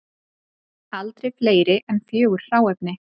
Aldrei fleiri en fjögur hráefni